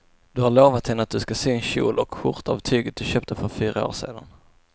Du har lovat henne att du ska sy en kjol och skjorta av tyget du köpte för fyra år sedan.